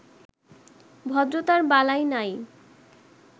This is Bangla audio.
ভদ্রতার বালাই নাই।